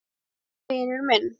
En vinur minn.